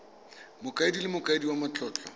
mokaedi le mokaedi wa matlotlo